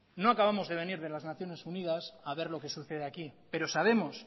no acabamos de venir de las naciones unidas a ver lo que sucede aquí pero sabemos